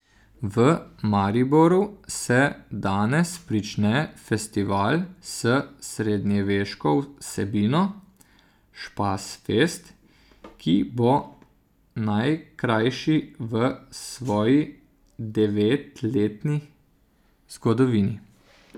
V Mariboru se danes prične festival s srednjeveško vsebino Špasfest, ki bo najkrajši v svoji devetletni zgodovini.